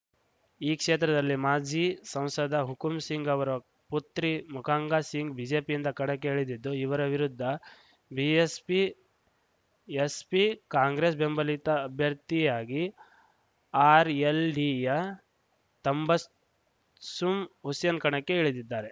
ಈ ಕ್ಷೇತ್ರದಲ್ಲಿ ಮಾಜಿ ಸಂಸದ ಹುಕುಂಸಿಂಗ್‌ ಅವರ ಪುತ್ರಿ ಮೃಗಾಂಕಾ ಸಿಂಗ್‌ ಬಿಜೆಪಿಯಿಂದ ಕಣಕ್ಕೆ ಇಳಿದಿದ್ದು ಇವರ ವಿರುದ್ಧ ಬಿಎಸ್‌ಪಿ ಎಸ್‌ಪಿ ಕಾಂಗ್ರೆಸ್‌ ಬೆಂಬಲಿತ ಅಭ್ಯರ್ಥಿಯಾಗಿ ಆರ್‌ಎಲ್‌ಡಿಯ ತಂಬಸ್ಸುಂ ಹುಸೇನ್‌ ಕಣಕ್ಕೆ ಇಳಿದಿದ್ದಾರೆ